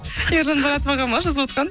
ержан маратов аға ма жазывотқан